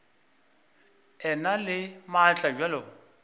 e na le maatla bjalo